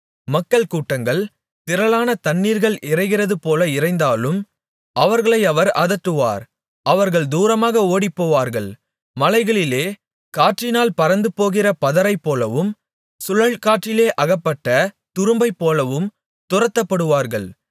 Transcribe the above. மக்கள் கூட்டங்கள் திரளான தண்ணீர்கள் இரைகிறதுபோல இரைந்தாலும் அவர்களை அவர் அதட்டுவார் அவர்கள் தூரமாக ஓடிப்போவார்கள் மலைகளிலே காற்றினால் பறந்துபோகிற பதரைப்போலவும் சுழல்காற்றிலே அகப்பட்ட துரும்பைப்போலவும் துரத்தப்படுவார்கள்